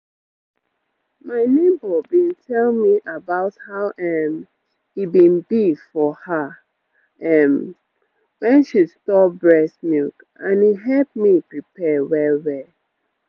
my neighbor been tell me about how um e been be for her um when she store breast milk and e help me prepare well-well